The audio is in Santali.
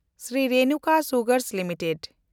Shri Renuka sugars limited